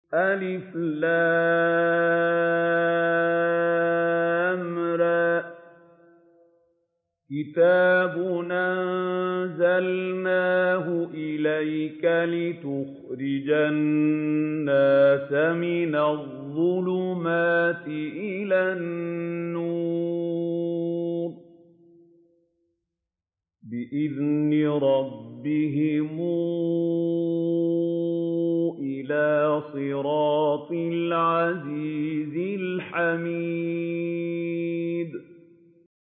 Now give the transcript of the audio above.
الر ۚ كِتَابٌ أَنزَلْنَاهُ إِلَيْكَ لِتُخْرِجَ النَّاسَ مِنَ الظُّلُمَاتِ إِلَى النُّورِ بِإِذْنِ رَبِّهِمْ إِلَىٰ صِرَاطِ الْعَزِيزِ الْحَمِيدِ